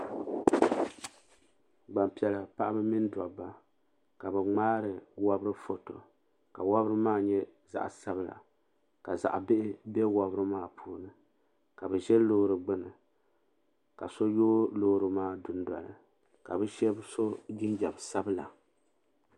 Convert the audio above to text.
Gbampiɛla paɣaba mini dabba ka bɛ ŋmaari wobri foto ka wobri maa nyɛ zaɣa sabla ka zaɣa bihi be wobri maa puuni ka bɛ ʒɛ loori gbini ka so yoogi loori maa dundoli ka bɛ Sheba so jinjiɛm sabla.